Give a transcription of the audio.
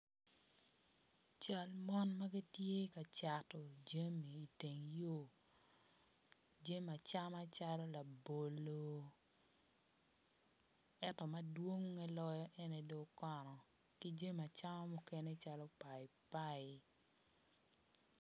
Cal mon magitye ka cato jami iteng yor jami acama calo labolo ento madwonge loyo ene dong okono ki jami acama mukene cal paipai